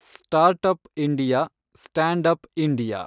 startup India, standup India